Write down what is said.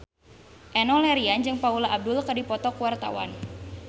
Enno Lerian jeung Paula Abdul keur dipoto ku wartawan